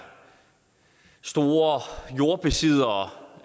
store jordbesiddere